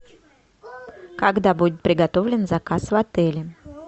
когда будет приготовлен заказ в отеле